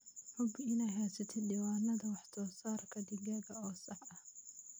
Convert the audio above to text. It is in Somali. Hubi inaad haysatid diiwaanada wax soo saarka digaaga oo sax ah.